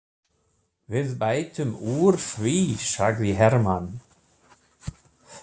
Við bætum úr því, sagði Hermann.